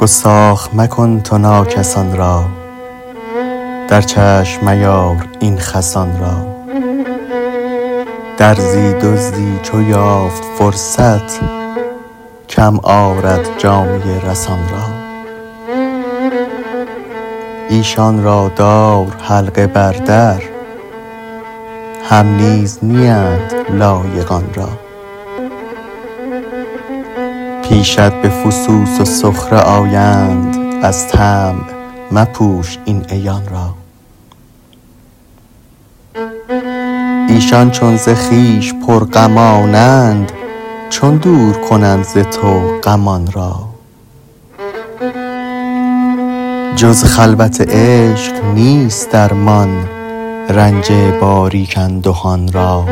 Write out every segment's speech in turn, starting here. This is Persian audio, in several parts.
گستاخ مکن تو ناکسان را در چشم میار این خسان را درزی دزدی چو یافت فرصت کم آرد جامه رسان را ایشان را دار حلقه بر در هم نیز نیند لایق آن را پیشت به فسوس و سخره آیند از طمع مپوش این عیان را ایشان چو ز خویش پرغمانند چون دور کنند ز تو غمان را جز خلوت عشق نیست درمان رنج باریک اندهان را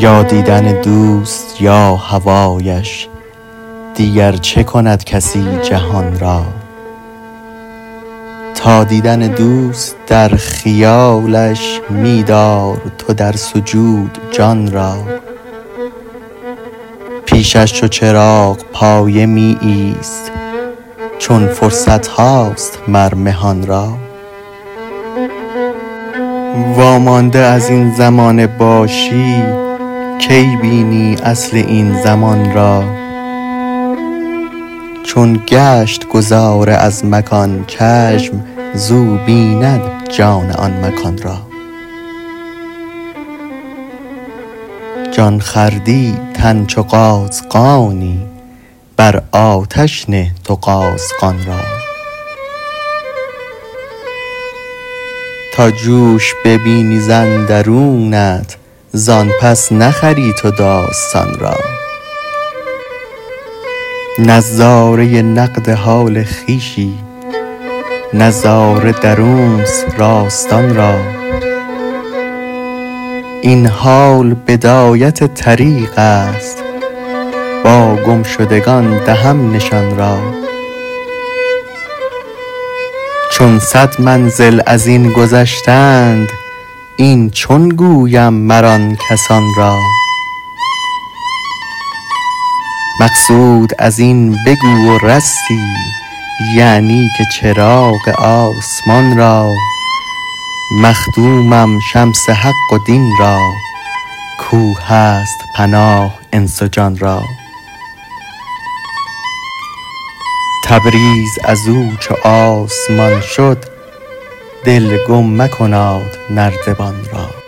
یا دیدن دوست یا هوایش دیگر چه کند کسی جهان را تا دیدن دوست در خیالش می دار تو در سجود جان را پیشش چو چراغپایه می ایست چون فرصت هاست مر مهان را وامانده از این زمانه باشی کی بینی اصل این زمان را چون گشت گذار از مکان چشم زو بیند جان آن مکان را جان خوردی تن چو قازغانی بر آتش نه تو قازغان را تا جوش ببینی ز اندرونت زان پس نخری تو داستان را نظاره نقد حال خویشی نظاره درونست راستان را این حال بدایت طریقست با گم شدگان دهم نشان را چون صد منزل از این گذشتند این چون گویم مر آن کسان را مقصود از این بگو و رستی یعنی که چراغ آسمان را مخدومم شمس حق و دین را کاو هست پناه انس و جان را تبریز از او چو آسمان شد دل گم مکناد نردبان را